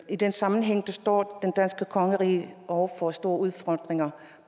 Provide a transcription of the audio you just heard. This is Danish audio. i den sammenhæng står det danske kongerige over for store udfordringer